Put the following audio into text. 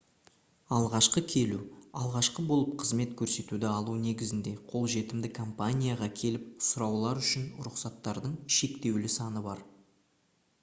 алғашқы келу алғашқы болып қызмет көрсетуді алу негізінде қолжетімді компанияға келіп сұраулар үшін рұқсаттардың шектеулі саны бар